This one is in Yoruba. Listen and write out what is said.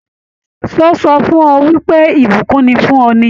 Ṣé ó sọ fún ọ wípé ìbùkún ni fún ọ ni?